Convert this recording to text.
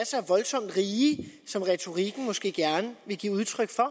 så voldsomt rige som retorikken måske gerne vil give udtryk for